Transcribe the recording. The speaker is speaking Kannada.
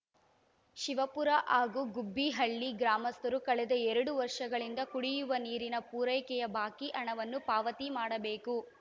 ಶಿವಪುರ ಹಾಗೂ ಗುಬ್ಬೀಹಳ್ಳಿ ಗ್ರಾಮಸ್ಥರು ಕಳೆದ ಎರಡು ವರ್ಷಗಳಿಂದ ಕುಡಿಯುವ ನೀರಿನ ಪೂರೈಕೆಯ ಬಾಕಿ ಹಣವನ್ನು ಪಾವತಿ ಮಾಡಬೇಕು